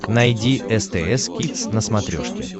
найди стс кидс на смотрешке